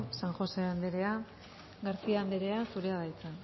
san josé anderea garcía anderea zurea da hitza